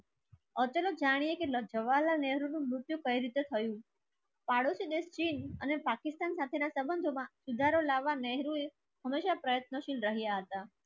અકેલે જાણીયે તો જવાહરલાલ નહેરુ ને મૃત્યુ કઈ રીતે થયું. અને પાકિસ્તાન સાથેના સંબંધોમાં સુધારો લાવવા નહેરુએ હમેશા પ્રયત્નશીલ રહ્યા હતા.